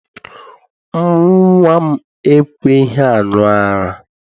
Nnwa m ekweghị aṅụ ara.